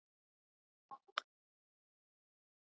Þóttust menn finna spor hestsins.